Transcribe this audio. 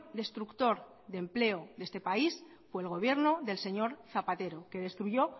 destructor de empleo de este país fue el gobierno del señor zapatero que destruyó